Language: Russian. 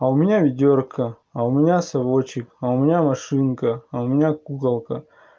а у меня ведёрко а у меня совочек а у меня машинка а у меня куколка